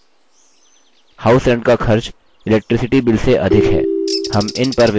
house rent का खर्च electricity bill से अधिक है